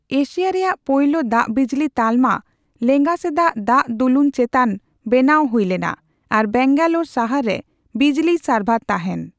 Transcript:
Asia ᱨᱮᱭᱟᱜ ᱯᱳᱭᱞᱳ ᱫᱟᱜᱼᱵᱤᱡᱽᱞᱤ ᱛᱟᱞᱢᱟ ᱞᱮᱸᱜᱟ ᱥᱮᱫᱟᱜ ᱫᱟᱜ ᱫᱩᱞᱩᱱ ᱪᱮᱛᱟᱱ ᱵᱮᱱᱟᱣ ᱦᱩᱭᱞᱮᱱᱟ ᱟᱨ ᱵᱮᱝᱜᱟᱞᱳᱨ ᱥᱟᱦᱟᱨ ᱨᱮ ᱵᱤᱡᱽᱞᱤᱭ ᱥᱟᱨᱵᱷᱟᱨ ᱛᱟᱦᱮᱱ ᱾